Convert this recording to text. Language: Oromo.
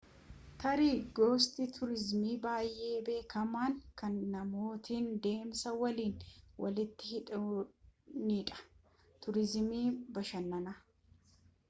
tarii gosti tuurizimii baayee beekamaan kan namootni deemsa waliin waliitti hidhaanidha tuuriizimii bashannanaa